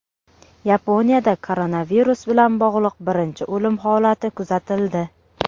Yaponiyada koronavirus bilan bog‘liq birinchi o‘lim holati kuzatildi.